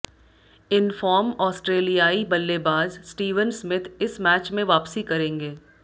इन form ऑस्ट्रेलियाई बल्लेबाज Steven Smith इस मैच में वापसी करेंगे